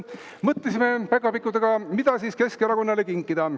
Mõtlesime päkapikkudega, mida Keskerakonnale kinkida.